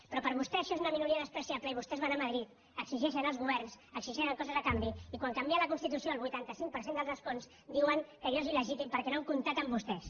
però per vostè això és una minoria despreciable i vostès van a madrid exigeixen als governs exigeixen coses a canvi i quan canvien la constitució el vuitanta cinc per cent dels escons diuen que allò és iltès